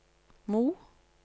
Mo